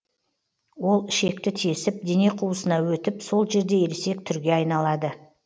ол ішекті тесіп дене қуысына өтіп сол жерде ересек түрге айналады